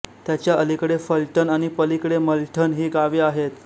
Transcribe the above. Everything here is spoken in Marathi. त्याच्या अलीकडे फलटण आणि पलीकडे मलठण ही गावे आहेत